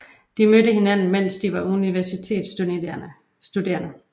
De mødte hinanden mens de var universitetsstuderende